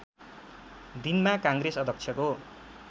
दिनमा काङ्ग्रेस अध्यक्षको